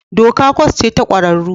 Doka kwas ce ta ƙwararru